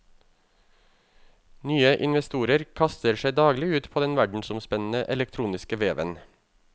Nye investorer kaster seg daglig ut på den verdensomspennende elektroniske veven.